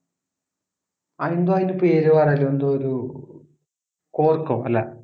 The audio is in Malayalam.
അതെന്താ അതിൻ്റെ പേര് പറയല് എന്തോ ഒരു ഏർ corck ഓ അല്ല